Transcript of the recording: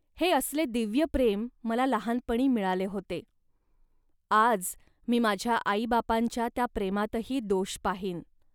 हे असले दिव्य प्रेम मला लहानपणी मिळाले होते. आज मी माझ्या आईबापांच्या त्या प्रेमातही दोष पाहीन